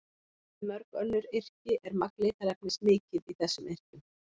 Miðað við mörg önnur yrki er magn litarefnis mikið í þessum yrkjum.